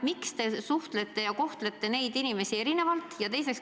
Miks te kohtlete neid inimesi erinevalt?